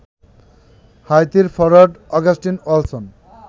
হাইতির forward Augustin ওয়ালসন